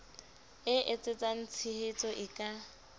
e etsetsang tshehetso e ka